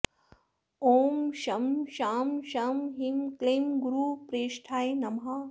ॐ शं शां षं ह्रीं क्लीं गुरुप्रेष्ठाय नमः